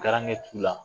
t'u la